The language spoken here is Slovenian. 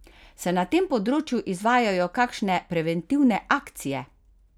Se na tem področju izvajajo kakšne preventivne akcije?